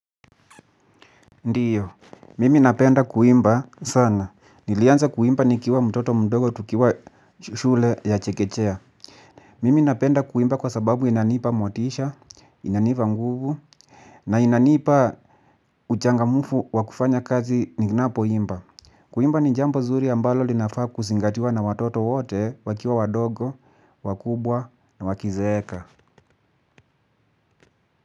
Ndiyo, mimi napenda kuimba sana, nilianza kuimba nikiwa mtoto mdogo tukiwa shule ya chekechea. Mimi napenda kuimba kwa sababu inanipa motisha, inanipa nguvu na inanipa uchangamfu wa kufanya kazi ninapoimba. Kuimba ni jambo zuri ambalo linafaa kuzingatiwa na watoto wote wakiwa wadogo, wakubwa na wakizeeka.